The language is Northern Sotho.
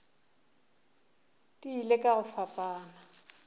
di ile ka go fapana